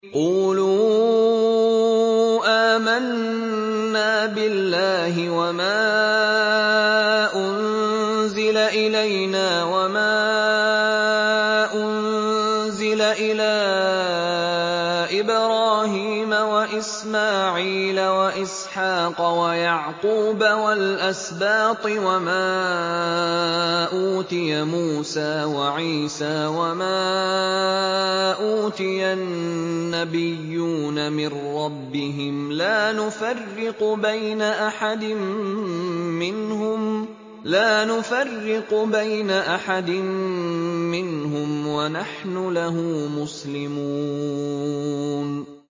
قُولُوا آمَنَّا بِاللَّهِ وَمَا أُنزِلَ إِلَيْنَا وَمَا أُنزِلَ إِلَىٰ إِبْرَاهِيمَ وَإِسْمَاعِيلَ وَإِسْحَاقَ وَيَعْقُوبَ وَالْأَسْبَاطِ وَمَا أُوتِيَ مُوسَىٰ وَعِيسَىٰ وَمَا أُوتِيَ النَّبِيُّونَ مِن رَّبِّهِمْ لَا نُفَرِّقُ بَيْنَ أَحَدٍ مِّنْهُمْ وَنَحْنُ لَهُ مُسْلِمُونَ